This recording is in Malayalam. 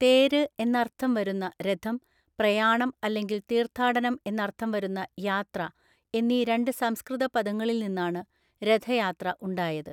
തേര് എന്നർത്ഥം വരുന്ന രഥം, പ്രയാണം അല്ലെങ്കിൽ തീർത്ഥാടനം എന്നർത്ഥം വരുന്ന യാത്ര എന്നീ രണ്ട് സംസ്കൃത പദങ്ങളിൽ നിന്നാണ് രഥയാത്ര ഉണ്ടായത്.